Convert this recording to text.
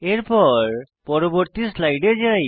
এখন পরবর্তী স্লাইডে যাই